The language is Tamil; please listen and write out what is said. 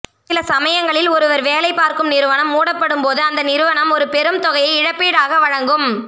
சில சமயங்களில் ஒருவர் வேலை பார்க்கும் நிறுவனம் மூடப்படும் போது அந்த நிறுவனம் ஒரு பெரும் தொகையை இழப்பீடாக வழங்கும்